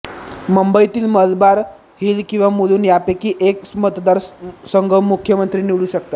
मुंबईतील मलबार हिल किंवा मुलुंड यापैकी एक मतदारसंघ मुख्यमंत्री निवडू शकतात